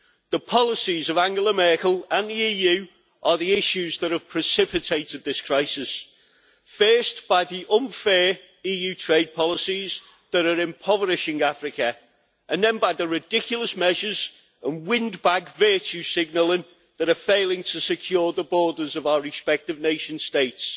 The policies of Angela Merkel and the EU are the issues that have precipitated this crisis, first by the unfair EU trade policies that are impoverishing Africa, and then by the ridiculous measures and windbag virtue signalling that are failing to secure the borders of our respective nation states.